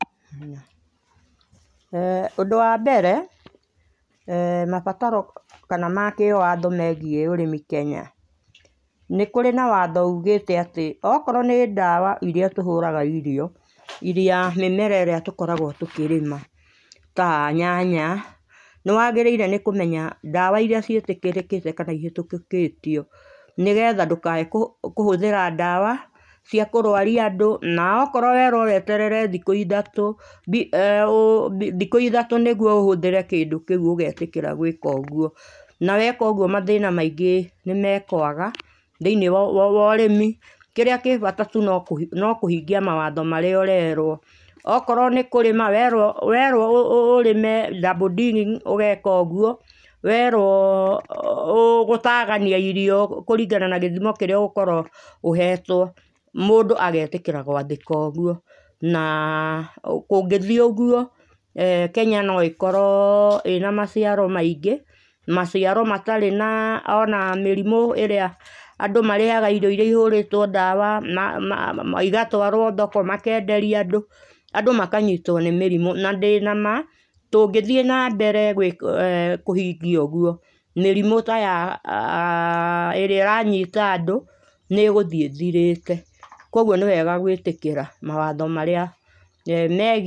Ũndũ wa mbere, mabataro kana ma kĩwatho megĩĩ ũrĩmi Kenya, nĩ kũrĩ na watho ũgĩte atĩ okorwo nĩ ndawa ĩria tũhũra irio mĩmera ĩrĩa gĩkoragwo tũkĩrĩma ta nyanya nĩ wagĩrĩire nĩ kũmenya ndawa ĩria ciatĩkĩrĩkĩte kana ĩhĩtũkĩtio, nĩgetha ndũkae kũhũthĩra ndawa cia kũrwaria andũ na akorwo werwo weterere thikũ ithatũ nĩguo ũhũthĩre kĩndũ kĩu ũgetĩkĩra gwĩka ũguo. Na weeks ũguo mathĩna maingĩ nĩ mekwaga thĩiniĩ wa ũrĩmi. Kĩrĩa kĩ bata tu no kũhingia mawatho marĩa ũrerwo, okorwo nĩ kũrĩma werwo ũrĩme double digging ũgeka ũguo, werwo gũtagania irio kũringana na gĩthimo kĩrĩa ũgũkorwo ũhetwo, mũndũ agetĩkĩra gwathĩka ũguo. Na kũngĩthĩ ũguo Kenya no ĩkorwo ĩna maciaro maingĩ, maciaro matarĩ ona mĩrimũ ĩrĩa andũ marĩyaga irio ĩria ĩhũrĩtwo ndawa, ĩgatwarwo thoko makĩenderio andũ makanyitwo nĩ mĩrimũ na ndĩ nama tũngĩthĩ nambere kũhingia ũguo mĩrimũ ta ĩrĩa ĩranyita andũ nĩ ĩgũthĩ ĩthirĩte. Koguo nĩ wega gwĩtĩkĩra mawatho marĩa megiĩ ũhũthĩri wa ndawa.